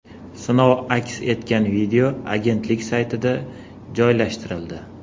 Sinov aks etgan video agentlik saytida joylashtirildi .